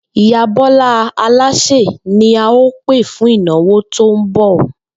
Ìyá Bó̩lá alásè ni a óò pè fún ìnáwó tó ń bò̩